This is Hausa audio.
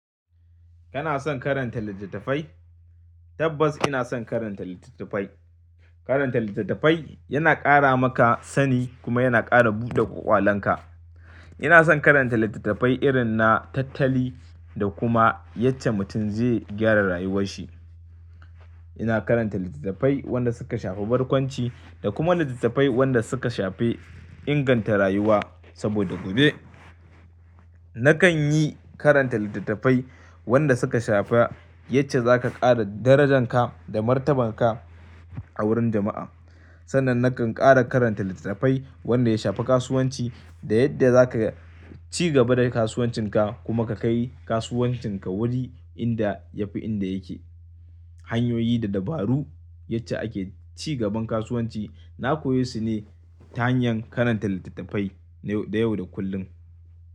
Kana son karanta littattafai? Tabbas ina son karanta littattafai. Karanta littattafai yana ƙara maka sani kuma yana ƙara buɗe kwalonka. Ina son karanta littattafai irin na tattali da kuma yadda mutum zai gyara rayuwarshi. Ina karanta littattafai wanda suka shafi barkwanci da kuma littattafai wanda suka shafi inganta rayuwa. Saboda gobe nakan yi karanta littattafai wanda suka shafa yace za ka ƙara darajanka da martabanka a wurin jama'a. Sannan nakan ƙara karanta littattafai wanda ya shafi kasuwanci da yadda za ka ci gaba da kasuwancinka kuma ka kai kasuwancinka wuri inda ya fi inda yake. Hanyoyi da dabaru yace ake cigaban kasuwanci. Na koye su ne ta hanyar karanta littattafai na yau da kullum.